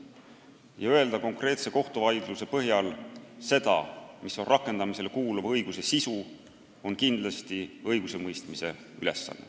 Ja öelda konkreetse kohtuvaidluse põhjal seda, mis on rakendamisele kuuluva õiguse sisu, on kindlasti õigusemõistmise ülesanne.